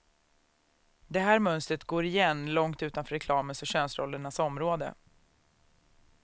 Det här mönstret går igen långt utanför reklamens och könsrollernas område.